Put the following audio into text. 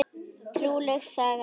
Trúleg saga það!